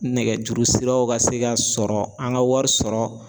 Nɛgɛjuru siraw ka se ka sɔrɔ an ŋa wari sɔrɔ